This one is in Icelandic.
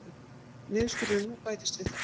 Niðurskurðurinn nú bætist við það